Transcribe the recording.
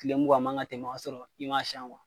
Tile mugan man ka tɛmɛ k'a sɔrɔ i m'a sɛn kuwa